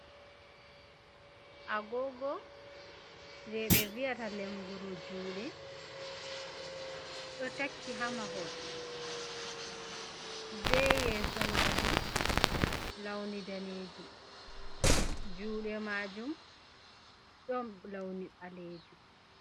Agogo je ɓe viyata lenguru juɗe, ɗo takki ha mahol, be yeso majum launi ɗanejum, juɗe majum ɗon launi ɓalejum.